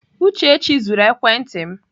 Uchechi zuru ekwenti m.